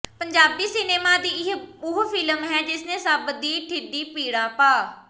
Punjabi cinema ਦੀ ਇਹ ਉਹ ਫ਼ਿਲਮ ਹੈ ਜਿਸ ਨੇ ਸਭ ਦੇ ਢਿੱਡੀ ਪੀੜਾਂ ਪਾ